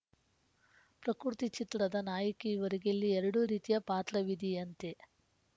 ಪ್ರಕೃತಿ ಚಿತ್ರದ ನಾಯಕಿ ಇವರಿಗೆ ಇಲ್ಲಿ ಎರಡು ರೀತಿಯ ಪಾತ್ರವಿದೆಯಂತೆ